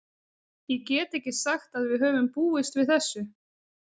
Ég get ekki sagt að við höfum búist við þessu.